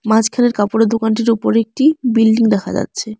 মাঝখানের কাপড়ের দোকানটির উপরে একটি বিল্ডিং দেখা যাচ্ছে।